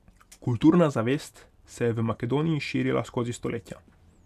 Kulturna zavest se je v Makedoniji širila skozi stoletja.